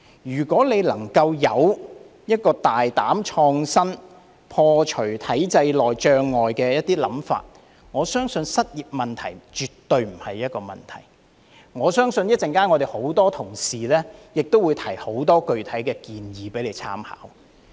如果局長能夠有一個大膽創新、破除體制內障礙的想法，我相信失業問題絕對不是一個問題，我相信很多同事稍後亦會提出很多具體的建議供他參考。